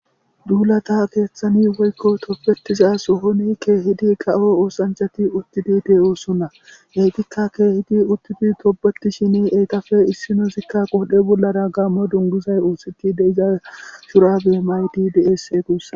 Duulata keeththani woykko toppetiza sohoni keehidi ka7o oosanchati uttidi de7oo sunna heytikka keehidi uttidi tobeti shini eyqafe issino sikka qodhe bollara gaammo dungusay oositi deiza surabe mayti deese guussan.